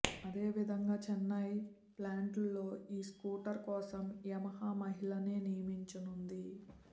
అదే విధంగా చెన్నై ప్లాంట్లో ఈ స్కూటర్ కోసం యమహా మహిళలనే నియమించనుంది